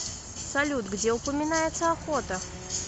салют где упоминается охота